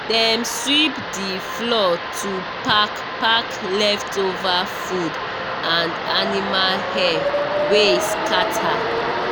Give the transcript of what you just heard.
dem sweep the floor to pack pack leftover food and animal hair wey scatter.